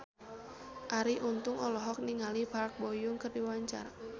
Arie Untung olohok ningali Park Bo Yung keur diwawancara